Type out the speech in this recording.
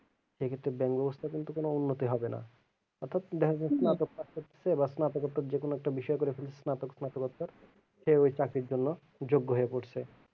সেক্ষেত্রে bank অবস্থা কিন্তু কোনো উন্নতি হবে না অর্থাৎ দেখা গেলো যেকোনো একটা বিষয় করে ফেলছে সেও ওই চাকরির জন্য যোগ্য হয়ে পড়ছে।